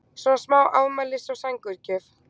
smá svona afmælis- og sængurgjöf.